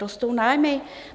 Rostou nájmy?